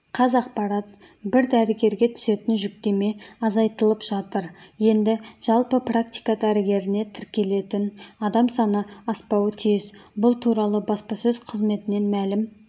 қазақпарат бір дәрігерге түсетін жүктеме азайтылып жатыр енді жалпы практика дәрігеріне тіркелетін адам саны аспауы тиіс бұл туралы баспасөз қызметінен мәлім